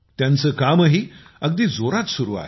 त्यांचे कामही अगदी जोरात सुरु आहे